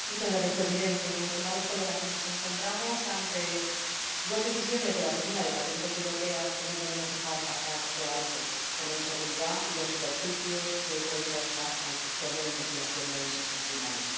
Señor Presidente, estimados colegas, nos encontramos ante dos decisiones de la Oficina Europea de Patentes que no podemos dejar pasar por alto por la inseguridad y los perjuicios que pueden causar al sector de la investigación en el sector primario.